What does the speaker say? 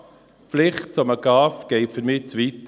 Die Pflicht zu einem GAV geht für mich zu weit.